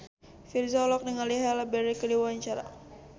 Virzha olohok ningali Halle Berry keur diwawancara